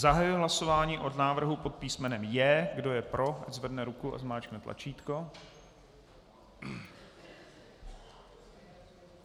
Zahajuji hlasování o návrhu pod písmenem J. Kdo je pro, ať zvedne ruku a zmáčkne tlačítko.